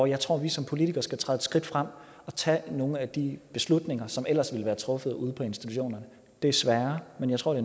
jeg tror at vi som politikere skal træde et skridt frem og tage nogle af de beslutninger som ellers ville være truffet ude på institutionerne desværre men jeg tror